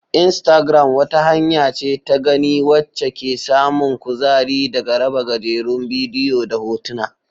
Instagram wata hanya ce ta gani wacce ke samun kuzari daga raba gajerun bidiyo da hotuna.